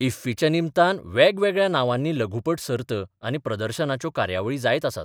इफ्फीच्या निमतान बेगवेगळ्या नांवांनी लघुपट सर्त आनी प्रदर्शनाच्यो कार्यावळी जायत आसात.